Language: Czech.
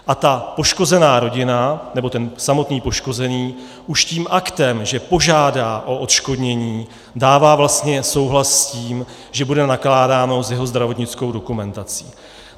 A ta poškozená rodina nebo ten samotný poškozený už tím aktem, že požádá o odškodnění, dává vlastně souhlas s tím, že bude nakládáno s jeho zdravotnickou dokumentací.